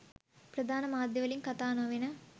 ප්‍රධාන මාධ්‍යවලින් කතා නොවෙන